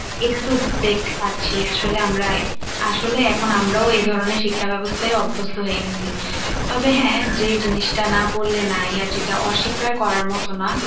এটা তো দেখতে পাচ্ছি, আসলে আমরা আসলে এখন আমরাও এই ধরনের শিক্ষাব্যবস্থায় অভ্যস্ত হয় গেছি, তবে হ্যাঁ যে জিনিসটা না বললে নাই আর যেটা অস্বীকার করার মত না।